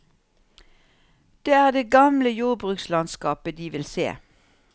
Det er det gamle jordbrukslandskapet de vil se.